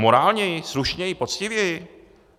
Morálněji, slušněji, poctivěji?